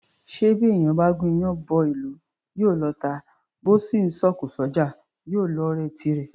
Ṣé bí èèyàn bá gún iyán bọ́ ìlú, yóò lọ́ọ̀tá; bó sì ńsọ òkò s’ọ́jà, yóò lọ́ọ̀rẹ́ tirẹ̀?